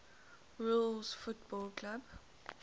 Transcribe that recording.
rules football clubs